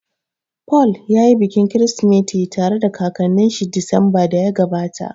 Paul ya yi bikin kirismeti tare da kakannin shi disamba da ya gabata